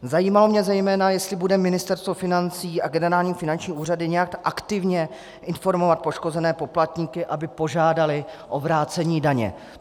Zajímalo mě zejména, jestli bude Ministerstvo financí a generální finanční úřad nějak aktivně informovat poškozené poplatníky, aby požádali o vrácení daně.